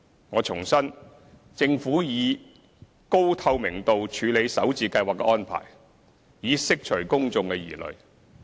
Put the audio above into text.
我重申，政府以高透明度處理首置計劃的安排，以釋除公眾疑慮。